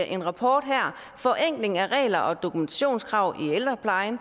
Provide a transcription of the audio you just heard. en rapport her forenkling af regler og dokumentationskrav i ældreplejen